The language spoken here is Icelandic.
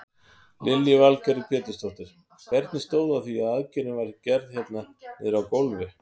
Lillý Valgerður Pétursdóttir: Hvernig stóð á því að aðgerðin var gerð hérna niðri á gólfi?